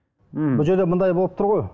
мхм бұл жерде мындай болып тұр ғой